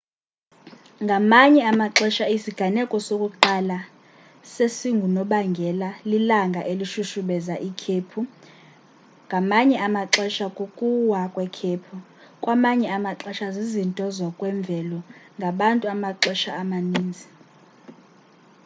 ngamanye amaxesha isiganeko sokuqala sesingunobangela lilanga elishushubeza ikhephu ngamanye amaxesha kukuwa kwekhephu kwamanye amaxesha zizinto zokwemvelo ngabantu amaxesha amaninzi